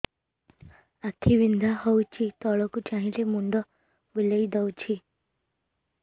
ଆଖି ବିନ୍ଧା ହଉଚି ତଳକୁ ଚାହିଁଲେ ମୁଣ୍ଡ ବୁଲେଇ ଦଉଛି